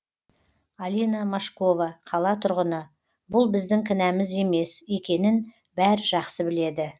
алина мошкова қала тұрғыны бұл біздің кінәміз емес екенін бәрі жақсы біледі